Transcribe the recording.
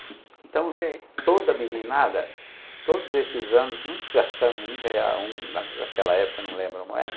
Então, sei, toda meninada, todos esses anos, nunca gastamos um real, naquela época, não lembro a moeda,